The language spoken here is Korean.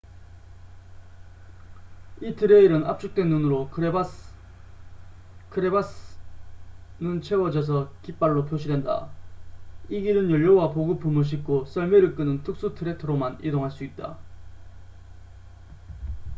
이 트레일은 압축된 눈으로 크레바스crevasse는 채워져서 깃발로 표시된다. 이 길은 연료와 보급품을 싣고 썰매를 끄는 특수 트랙터로만 이동할 수 있다